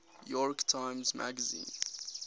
york times magazine